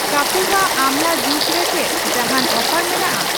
ᱠᱟᱯᱤᱵᱷᱟ ᱟᱢᱞᱟ ᱡᱩᱥ ᱨᱮ ᱪᱮᱫ ᱡᱟᱦᱟᱱ ᱚᱯᱷᱟᱨ ᱢᱮᱱᱟᱜᱼᱟ ?